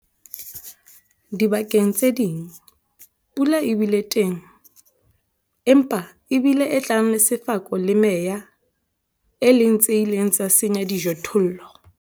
Dibakeng tse ding, pula e bile teng, empa e bile e tlang le sefako le meya, e leng tse ileng tsa senya dijothollo.